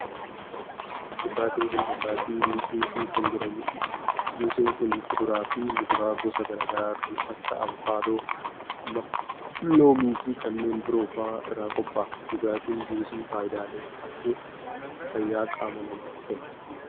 Dhugaatiin kun dhugaatii juusii kan jedhamuu dha. Juusiin kun kuduraa fi muduraa gosa garaa garaa kan akka :avokaadoo, maangoo, loomii fi kanneen biroo faa irraa qopha'a. Dhugaatiin juusii faayidaalee hedduu fayyaa qaama namaaf kenna.